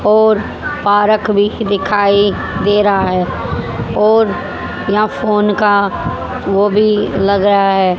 और पार्क भी दिखाई दे रहा है और यहां फोन का वो भी लग रहा है।